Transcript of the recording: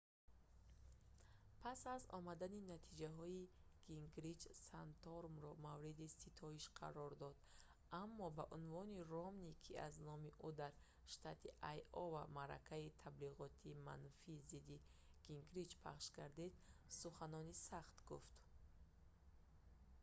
пас аз омадани натиҷаҳо гингрич санторумро мавриди ситоиш қарор дод аммо ба унвони ромни ки аз номи ӯ дар штати айова маъракаи таблиғотии манфии зидди гингрич пахш гардид суханони сахт гуфт